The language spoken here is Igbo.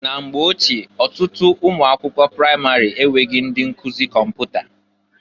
Na mgbe ochie, ọtụtụ ụnọ akwụkwọ pramarị enweghi ndị nkụzị kọmpụta.